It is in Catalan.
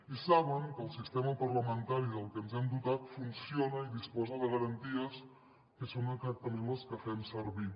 i saben que el sistema parlamentari del que ens hem dotat funciona i disposa de garanties que són exactament les que fem servir